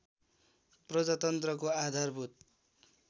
प्रजातन्त्रको आधारभूत